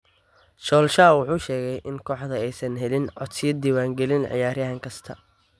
Solskjaer wuxuu sheegay in kooxda aysan helin codsiyo diiwaangelin ciyaaryahan kasta.